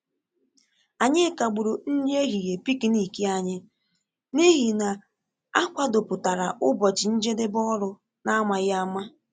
Anyị kagburu nri ehihie pịknịk ànyị n’ihi na a kwàdòpụtara ụbọchị njedebe ọrụ n’amaghị ama